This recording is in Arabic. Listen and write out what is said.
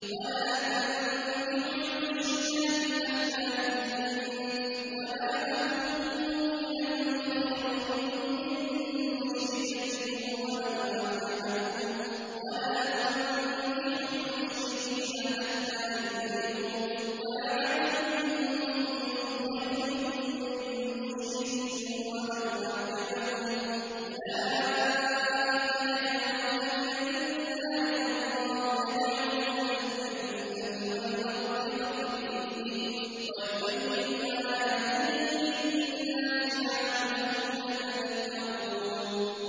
وَلَا تَنكِحُوا الْمُشْرِكَاتِ حَتَّىٰ يُؤْمِنَّ ۚ وَلَأَمَةٌ مُّؤْمِنَةٌ خَيْرٌ مِّن مُّشْرِكَةٍ وَلَوْ أَعْجَبَتْكُمْ ۗ وَلَا تُنكِحُوا الْمُشْرِكِينَ حَتَّىٰ يُؤْمِنُوا ۚ وَلَعَبْدٌ مُّؤْمِنٌ خَيْرٌ مِّن مُّشْرِكٍ وَلَوْ أَعْجَبَكُمْ ۗ أُولَٰئِكَ يَدْعُونَ إِلَى النَّارِ ۖ وَاللَّهُ يَدْعُو إِلَى الْجَنَّةِ وَالْمَغْفِرَةِ بِإِذْنِهِ ۖ وَيُبَيِّنُ آيَاتِهِ لِلنَّاسِ لَعَلَّهُمْ يَتَذَكَّرُونَ